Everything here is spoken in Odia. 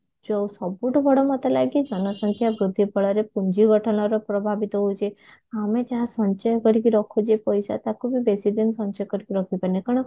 ଯଉ ସବୁଠୁ ବଡ ମୋତେ ଲାଗେ ଜନସଂଖ୍ୟା ବୃଦ୍ଧି ଫଳରେ ପୁଞ୍ଜି ଗଠନର ପ୍ରଭାବିତ ହଉଛି ଆମେ ଯାହା ସଞ୍ଚୟ କରିକି ରଖୁଛେ ପଇସା ତାକୁ ବି ବେଶିଦିନ ସଞ୍ଚୟ କରିକିରଖିପାରୁନେ କାରଣ